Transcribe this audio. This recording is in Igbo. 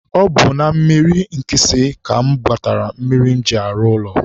ọ bụ na mmiri Nkịsị ka mụ gbatara mmiri m ji arụ ụlọ